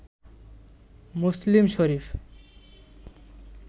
Muslim Sharif